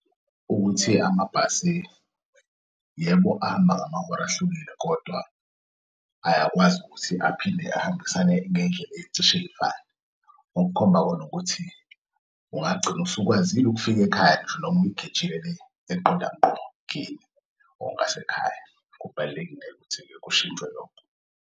Ukuthi amabhasi, yebo ahamba ngamahora ahlukile kodwa ayakwazi ukuthi aphinde ahambisane ngeyindlela eyicishey'fane, okukhomba khon'ukuthi ungagcina usukwazile ukufika ekhaya noma uyigejile eqonda nqo kini ngokwasekhaya. Kubalulekile-ke ukuthi kushintshwe lokho.